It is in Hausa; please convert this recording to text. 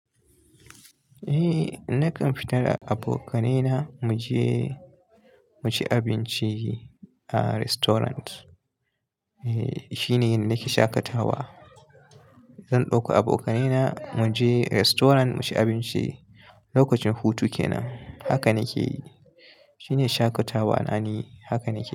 Eh nakan fita da abokaina mu je mu ci abinci a restaurant. Eh shine nake shaƙatawa. Zan ɗauko abokanaina mu je restaurant mu ci abinci. Lokacin hutu kenan haka nake yi. Shine shaƙatawa na ni haka nake yi.